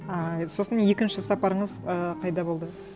ыыы сосын екінші сапарыңыз ы қайда болды